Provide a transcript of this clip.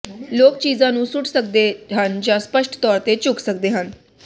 ਲੋਕ ਚੀਜ਼ਾਂ ਨੂੰ ਸੁੱਟ ਸਕਦੇ ਹਨ ਜਾਂ ਸਪੱਸ਼ਟ ਤੌਰ ਤੇ ਝੁਕ ਸਕਦੇ ਹਨ